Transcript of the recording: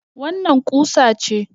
Wannan ƙusa ce.